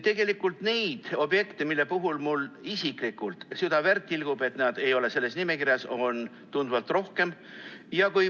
Tegelikult neid objekte, mille puhul mul isiklikult süda verd tilgub, sellepärast et nad ei ole selles nimekirjas, on tunduvalt rohkem.